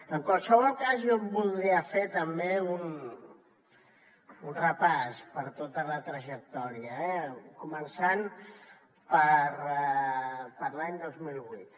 en qualsevol cas jo voldria fer també un repàs per tota la trajectòria eh començant per l’any dos mil vuit